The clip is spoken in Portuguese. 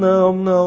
Não, não.